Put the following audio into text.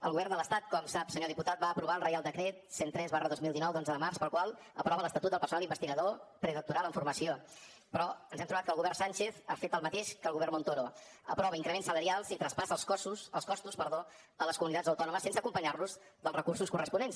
el govern de l’estat com sap senyor diputat va aprovar el reial decret cent i tres dos mil dinou d’onze de març pel qual aprova l’estatut del personal investigador predoctoral en formació però ens hem trobat que el govern sánchez ha fet el mateix que el govern montoro aprova increments salarials i traspassa els costos a les comunitats autònomes sense acompanyar los dels recursos corresponents